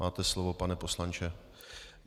Máte slovo, pane poslanče.